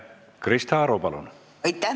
Krista Aru, palun!